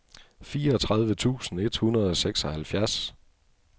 fireogtredive tusind et hundrede og seksoghalvfjerds